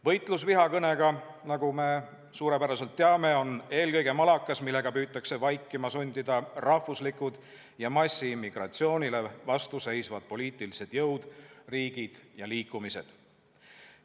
Võitlus vihakõnega, nagu me suurepäraselt teame, on eelkõige malakas, millega püütakse vaikima sundida rahvuslikud ja massiimmigratsioonile vastu seisvad poliitilised jõud, riigid ja liikumised.